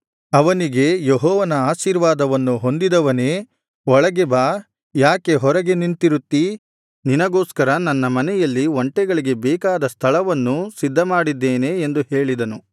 ಅವನಿಗೆ ಯೆಹೋವನ ಆಶೀರ್ವಾದವನ್ನು ಹೊಂದಿದವನೇ ಒಳಗೆ ಬಾ ಯಾಕೆ ಹೊರಗೆ ನಿಂತಿರುತ್ತೀ ನಿನಗೋಸ್ಕರ ನನ್ನ ಮನೆಯಲ್ಲಿ ಒಂಟೆಗಳಿಗೆ ಬೇಕಾದ ಸ್ಥಳವನ್ನೂ ಸಿದ್ಧಮಾಡಿದ್ದೇನೆ ಎಂದು ಹೇಳಿದನು